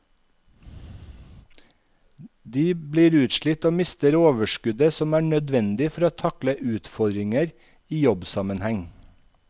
De blir utslitt og mister overskuddet som er nødvendig for å takle utfordringer i jobbsammenheng.